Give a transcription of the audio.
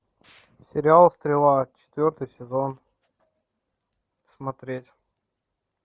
сериал стрела четвертый сезон смотреть